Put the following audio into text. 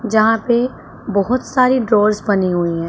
जहाँ पे बहोत सारे ड्रावर्स बने हुए--